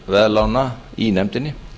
greiðsluaðlögunarveðlána í nefndinni